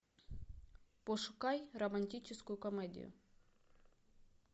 пошукай романтическую комедию